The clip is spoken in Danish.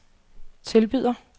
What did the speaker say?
tilbyder